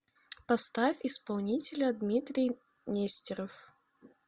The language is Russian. поставь исполнителя дмитрий нестеров